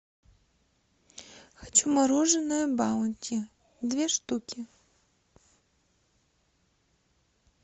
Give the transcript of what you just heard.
хочу мороженое баунти две штуки